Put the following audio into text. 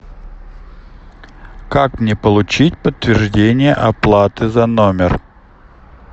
как мне получить подтверждение оплаты за номер